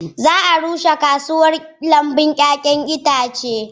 Za a rushe kasuwar lambun 'ya'yan itace.